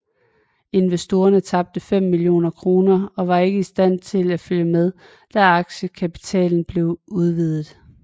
Investorerne tabte 5 millioner kroner og var ikke i stand til at følge med da aktiekapitalen blev udvidet